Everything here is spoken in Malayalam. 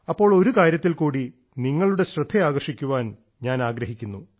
അപ്പോൾ ഒരു കാര്യത്തിൽ കൂടി നിങ്ങളുടെ ശ്രദ്ധ ആകർഷിക്കാൻ ഞാൻ ആഗ്രഹിക്കുന്നു